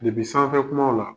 sanfɛ kumaw la